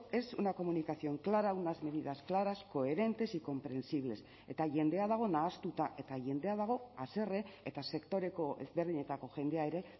es una comunicación clara unas medidas claras coherentes y comprensibles eta jendea dago nahastuta eta jendea dago haserre eta sektoreko ezberdinetako jendea ere